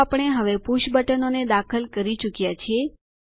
તો આપણે હવે પુષ બટનોને દાખલ કરી ચુક્યાં છીએ